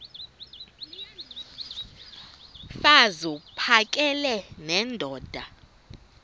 mfaz uphakele nendoda